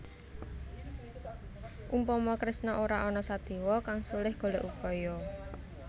Umpama Kresna ora ana Sadéwa kang sulih golèk upaya